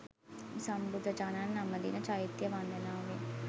සම්බුදුරජාණන් නමදින චෛත්‍ය වන්දනාවෙන්